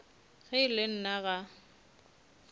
ge e le nna ga